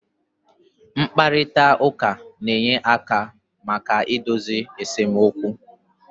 Mkparịta ụka na-enye aka maka idozi esemokwu